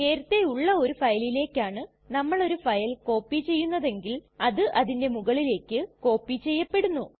നേരത്തെ ഉള്ള ഒരു ഫയലിലെക്കാണ് നമ്മൾ ഒരു ഫയൽ കോപ്പി ചെയ്യുന്നതെങ്കിൽ അത് അതിന്റെ മുകളിലേക്ക് കോപ്പി ചെയ്യപ്പെടുന്നു